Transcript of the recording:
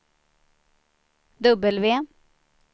W